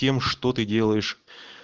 тем что ты делаешь